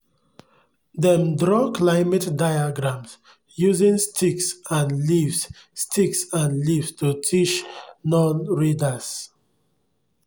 dem draw climate diagrams using sticks and leaves sticks and leaves to teach non-readers